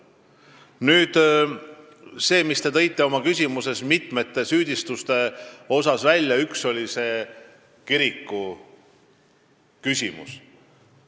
Nüüd see, millele te oma küsimuses meid süüdistades viitasite: see on see kiriku küsimus.